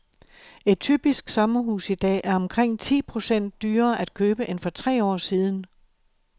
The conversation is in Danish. Et typisk sommerhus i dag er omkring ti procent dyrere at købe end for tre år siden.